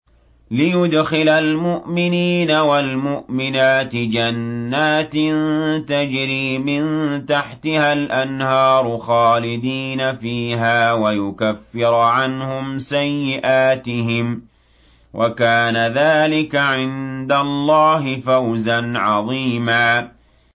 لِّيُدْخِلَ الْمُؤْمِنِينَ وَالْمُؤْمِنَاتِ جَنَّاتٍ تَجْرِي مِن تَحْتِهَا الْأَنْهَارُ خَالِدِينَ فِيهَا وَيُكَفِّرَ عَنْهُمْ سَيِّئَاتِهِمْ ۚ وَكَانَ ذَٰلِكَ عِندَ اللَّهِ فَوْزًا عَظِيمًا